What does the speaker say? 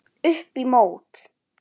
Upp í mót.